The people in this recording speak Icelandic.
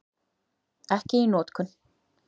Ekki í notkun.